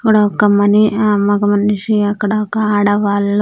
ఇక్కడ ఒక మని-- ఆ మగ మనిషి అక్కడ ఒక ఆడ వాళ్ళు.